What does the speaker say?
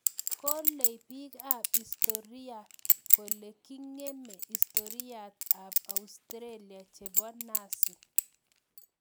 Kolei piik ab historiaa kole kingeme historiait ab australia chebo nazi